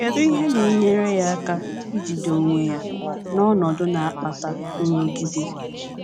Kedu ihe na - enyere ya aka ijide onwe ya n’ọnọdụ na - akpata nrụgide?